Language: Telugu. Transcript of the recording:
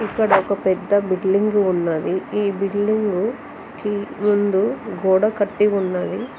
ఇక్కడ ఒక పెద్ద బిల్డింగ్ ఉన్నది ఈ బిల్డింగ్గు ముందు గోడ కట్టి ఉన్నది.